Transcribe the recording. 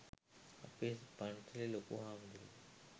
අපේ පන්සලේ ලොකු හාමුදුරුවෝ